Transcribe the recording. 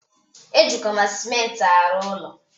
E jikwa ma sịmenti arụ ụlọ